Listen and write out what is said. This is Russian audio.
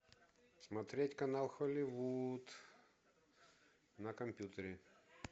смотреть канал холливуд на компьютере